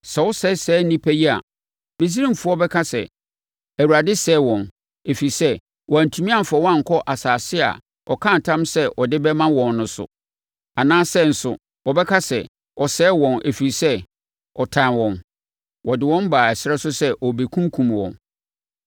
Sɛ wosɛe saa nnipa yi a, Misraimfoɔ bɛka sɛ, ‘ Awurade sɛee wɔn, ɛfiri sɛ, wantumi amfa wɔn ankɔ asase a ɔkaa ntam sɛ ɔde bɛma wɔn no so. Anaasɛ nso, wɔbɛka sɛ, ɔsɛee wɔn, ɛfiri sɛ, ɔtan wɔn; ɔde wɔn baa ɛserɛ so sɛ ɔrekɔkunkum wɔn.’